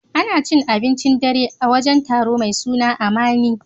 Ana cin abincin dare a wajen taro mai suna Amani.